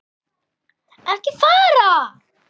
ekki fara!